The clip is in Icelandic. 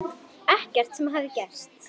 Ekkert sem hafði gerst.